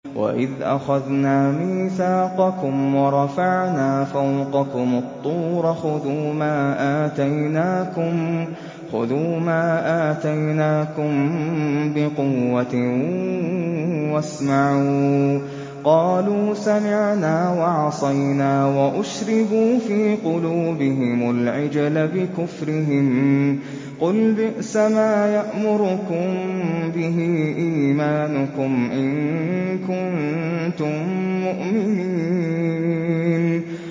وَإِذْ أَخَذْنَا مِيثَاقَكُمْ وَرَفَعْنَا فَوْقَكُمُ الطُّورَ خُذُوا مَا آتَيْنَاكُم بِقُوَّةٍ وَاسْمَعُوا ۖ قَالُوا سَمِعْنَا وَعَصَيْنَا وَأُشْرِبُوا فِي قُلُوبِهِمُ الْعِجْلَ بِكُفْرِهِمْ ۚ قُلْ بِئْسَمَا يَأْمُرُكُم بِهِ إِيمَانُكُمْ إِن كُنتُم مُّؤْمِنِينَ